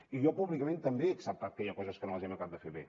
i jo públicament també he acceptat que hi ha coses que no les hem acabat de fer bé